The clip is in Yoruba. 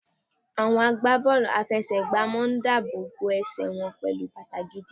Àwọn agbá bọ́ọ̀lù àfẹsẹ̀ gbà ń máa dáàbò bo ẹsẹ̀ wọn pẹlu bàtà gidi.